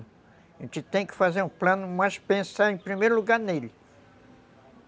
A gente tem que fazer um plano, mas pensar em primeiro lugar nele.